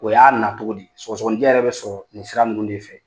O y'a na cogo di , sɔgɔgɔninjɛ yɛrɛ bɛ sɔrɔ nin sira ninnu de fɛ!